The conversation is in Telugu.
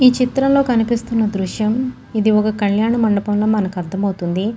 ఈ చిత్రంలో కనిపిస్తున్న దృశ్యం ఇదొక కళ్యాణ మండపంల మనకు అర్థమౌతుంది.